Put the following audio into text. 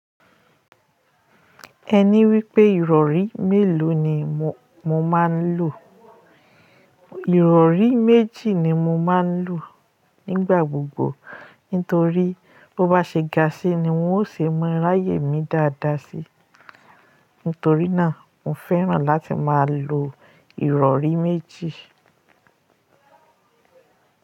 Ẹni wípé ìrọ̀rí mélòó ni mò máa ń lò? Ìrọ̀rí méjì ni mo máa ń lò nígbà gbogbo. Nítorí bó bá ṣe ga síi ni wọ́n ó ṣe é ma ráyè mi dáadáa síí. Nítorí náà, mo fẹ́ràn láti máa lo ìrọ̀rí méjì.